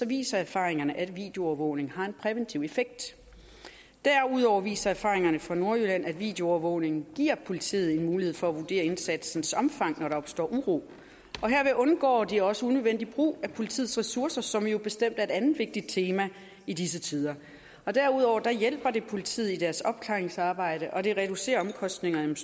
viser erfaringerne at videoovervågning har en præventiv effekt derudover viser erfaringerne fra nordjylland at videoovervågning giver politiet mulighed for at vurdere indsatsens omfang når der opstår uro herved undgår de også unødvendig brug af politiets ressourcer som jo bestemt er et andet vigtigt tema i disse tider derudover hjælper det politiet i deres opklaringsarbejde og det reducerer omkostningerne